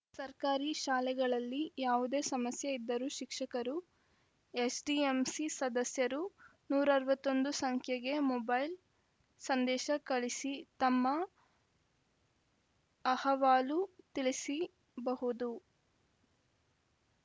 ಸರ್ಕಾರಿ ಶಾಲೆಗಳಲ್ಲಿ ಯಾವುದೇ ಸಮಸ್ಯೆ ಇದ್ದರೂ ಶಿಕ್ಷಕರು ಎಸ್‌ಡಿಎಂಸಿ ಸದಸ್ಯರು ನೂರ ಅರವತ್ತ್ ಒಂದು ಸಂಖ್ಯೆಗೆ ಮೊಬೈಲ್‌ ಸಂದೇಶ ಕಳಿಸಿ ತಮ್ಮ ಅಹವಾಲು ತಿಳಿಸಿಬಹುದು